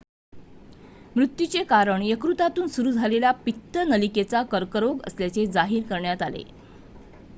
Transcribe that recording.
मृत्यूचे कारण यकृतातून सुरू झालेला पित्त नलिकेचा कर्करोग असल्याचे जाहीर करण्यात आले